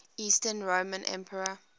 eastern roman emperor